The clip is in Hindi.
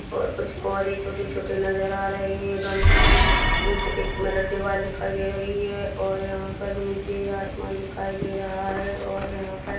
और कुछ पौधे छोटे छोटे नज़र आ रहे है गममो की ईट दिक मतलब दीवाल दिखाई दे रही है और यहाँ पर मुझे आसमान दिखाई दे रहा है और यहाँ पर --